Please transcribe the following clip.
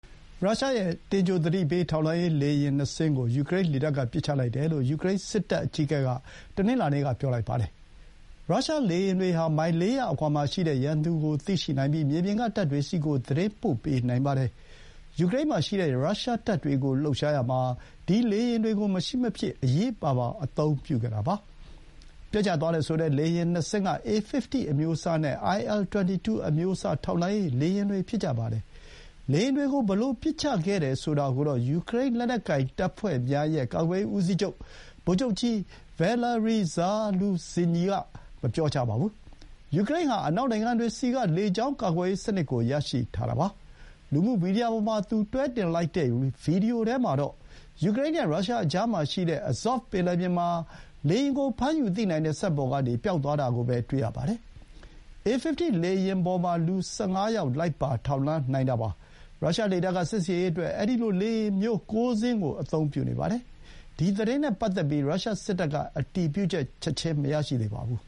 ရုရှားရဲ့တင်ကြိုသတိပေးထိန်းချုပ် လေယာဥ် ၂ စင်းကို ယူကရိန်းလေတပ်က ပစ်ချလိုက်တယ်လို့ ယူကရိန်းစစ်တပ်အကြီးအကဲက တနင်္လာနေ့က ပြောပါတယ်။ ရုရှားလေယာဥ်တွေဟာ မိုင် ၄၀၀ အကွာမှာရှိတဲ့ရန်သူကိုသိရှိနိုင်ပြီး မြေပြင်က တပ်တွေဆီ သတင်းပို့ပေးနိုင်ပါတယ်။ ယူကရိန်းမှာရှိတဲ့ရုရှားတပ်တွေကို လှုပ်ရှားရာမှာ ဒီလေယာဥ်တွေကို မရှိမဖြစ် အရေးပါပါ အသုံးပြုခဲ့တာပါ။ ပျက်ကျသွားတယ်ဆိုတဲ့ လေယာဥ် ၂ စင်းက A 50 အမျိုးအစားနဲ့ IL 22 အမျိုးအစား ထောက်လှမ်းရေးလေယာဥ်တွေ ဖြစ်ကြပါတယ်။ လေယာဥ်တွေကို ဘယ်လို ပစ်ချခဲ့တယ်ဆိုတာကိုတော့ ယူကရိန်း လက်နက်ကိုင်တပ်ဖွဲ့များရဲ့ ကာကွယ်ရေးဦးစီးချုပ် ဗိုလ်ချုပ်ကြီး ဗယ်လာရီ ဇာလူဇင်ညီ (Valeriy Zaluzhnyi) က မပြောပါဘူး။ ယူကရိန်းဟာ အနောက်နိုင်ငံတွေဆီက လေကြောင်း ကာကွယ်ရေးစနစ်ကို ရရှိထားပါတယ်။ လူမှုမီဒီယာပေါ်မှာ သူ တွဲတင်ထားတဲ့ဗွီဒီယိုမှာတော့ ယူကရိန်း နဲ့ ရုရှားကြားမှာရှိတဲ့ အဇော့ဗ် (Azov) ပင်လယ်ပြင်မှာ လေယာဥ်ကို ဖမ်းယူသိနိုင်တဲ့စက်ပေါ်ကနေ ပျောက်သွားတာကို တွေ့ရပါတယ်။ အေ 50 လေယာဥ်ပေါ်မှာ လူ ၁၅ ယောက် လိုက်ပါ ထောက်လှမ်းတာပါ။ ရုရှားလေတပ်က စစ်ဆင်ရေးအတွက် အဲဒီလို လေယာဥ်မျိုး ၉ စင်းကိုသုံးနေပါတယ်။ ဒီ သတင်းနဲ့ပတ်သက်ပြီး ရုရှားစစ်တပ်က အတည်ပြုချက် ချက်ချင်း မရရှိသေးပါဘူး